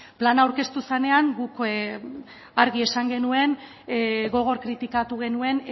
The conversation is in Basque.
plana aurkeztu zenean guk argi esan genuen gogor kritikatu genuen